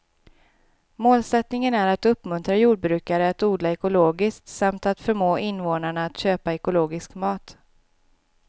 Målsättningen är att uppmuntra jordbrukare att odla ekologiskt samt att förmå invånarna att köpa ekologisk mat.